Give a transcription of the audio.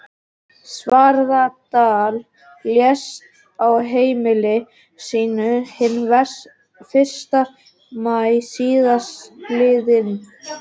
Svarfaðardal, lést á heimili sínu hinn fyrsta maí síðastliðinn.